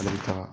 Ale ka